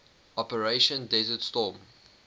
operation desert storm